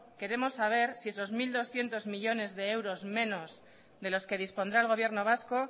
queremos saber si esos mil doscientos millónes de euros menos de los que dispondrá el gobierno vasco